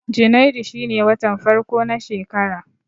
Janairu shine watan farko na shekara